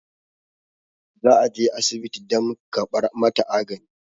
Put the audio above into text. za a je asibiti dam kabar mataagani